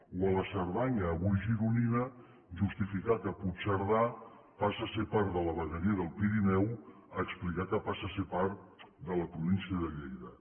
o a la cerdanya avui gironina justificar que puigcerdà passa a ser part de la vegueria del pirineu a explicar que passa a ser part de la província de lleida